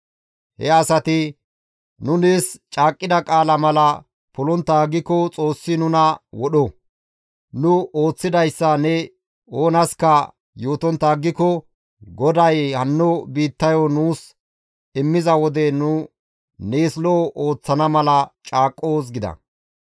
He asati, «Nu nees caaqqida qaalaa mala polontta aggiko Xoossi nuna wodho! Nu ooththidayssa ne oonaska yootontta aggiko, GODAY hanno biittayo nuus immiza wode nu nees lo7o ooththana mala caaqqoos» gida.